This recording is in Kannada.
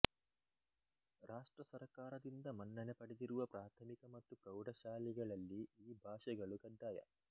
ರಾಷ್ಟ್ರ ಸರ್ಕಾರದಿಂದ ಮನ್ನಣೆ ಪಡೆದಿರುವ ಪ್ರಾಥಮಿಕ ಮತ್ತು ಪ್ರೌಢ ಶಾಲೆಗಳಲ್ಲಿ ಈ ಭಾಷೆಗಳು ಕಡ್ಡಾಯ